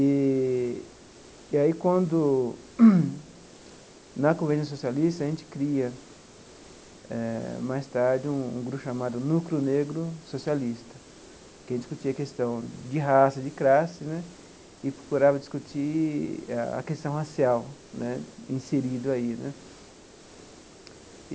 Eee e aí, quando, na Convenção Socialista, a gente cria, eh mais tarde, um um grupo chamado Núcleo Negro Socialista, em que a gente discutia a questão de raça, de classes né, e procurava discutir a questão racial né inserido aí né.